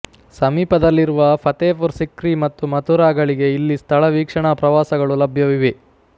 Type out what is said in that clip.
ಸಮೀಪದಲ್ಲಿರುವ ಫತೇಪುರ್ ಸಿಕ್ರಿ ಮತ್ತು ಮಥುರಾಗಳಿಗೆ ಇಲ್ಲಿ ಸ್ಥಳ ವೀಕ್ಷಣಾ ಪ್ರವಾಸಗಳು ಲಭ್ಯವಿವೆ